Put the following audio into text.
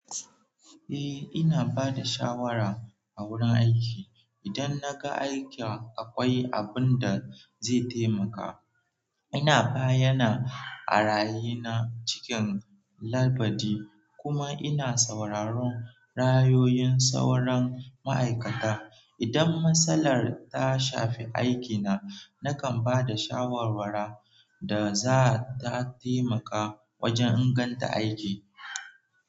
Eh, ina ba da shawara a wurin aiki. Idan na ga aikin akwai abin da zai taimaka, ina bayyana ra'ayi na cikin ladabi kuma ina sauraron ra'ayoyin sauran ma'aikata. Idan matsalar ta shafi aikina, nakan ba da shawarwari da za ta taimaka wajen inganta aiki.